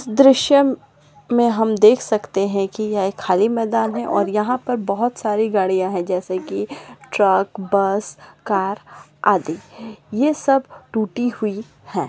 दृश्य म में हम देख सकते है की यहाँ खाली मैदान है और यहाँ पर बहुत सारी गाडियां है जैसे की ट्रक बस कार आदि ये सब टूटी हुई है।